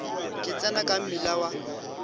ka tsena ka mmila wa